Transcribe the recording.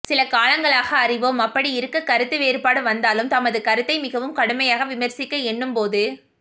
சில காலங்களாக அறிவோம் அப்படி இருக்க கருத்து வேறுபாடு வந்தாலும் தமது கருத்தை மிகவும் கடுமையாக விமர்சிக்க எண்ணும் போது